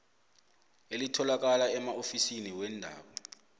elitholakala emaofisini weendaba